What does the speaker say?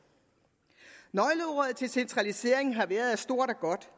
nøgleordet i centraliseringen har været at stort er godt